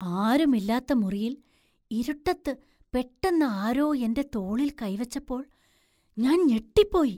ആരും ഇല്ലാത്ത മുറിയില്‍ ഇരുട്ടത്ത് പെട്ടെന്ന് ആരോ എൻ്റെ തോളിൽ കൈ വെച്ചപ്പോൾ ഞാൻ ഞെട്ടിപ്പോയി.